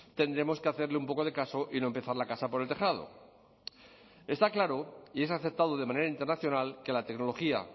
tendremos que hacerle un poco de caso y no empezar la casa por el tejado está claro y es aceptado de manera internacional que la tecnología